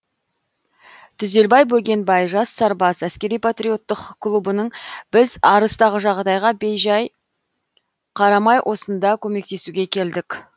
түзелбай бөгенбай жас сарбаз әскери патриоттық клубының біз арыстағы жағдайға бей жай қарамай осында көмектесуге келдік